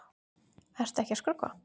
Ertu ekki að skrökva?